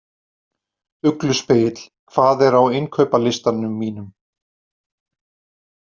Ugluspegill, hvað er á innkaupalistanum mínum?